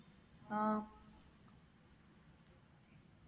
ആ